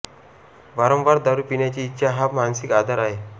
वारंवार दारू पिण्याची इच्छा हा मानसिक आजार आहे